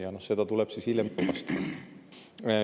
Ja seda tuleb siis hiljem tuvastada.